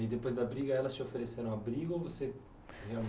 E aí depois da briga, elas te ofereceram abrigo ou você